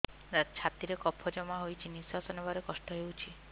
ଛାତିରେ କଫ ଜମା ହୋଇଛି ନିଶ୍ୱାସ ନେବାରେ କଷ୍ଟ ହେଉଛି